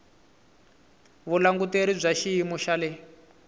vulanguteri bya xiyimo xa le